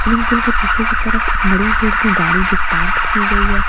swimming pool के पीछे की तरफ एक मड़ून कलर की गाडी जो पार्केड की गयी हैं --